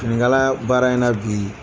Finikala baara in na bi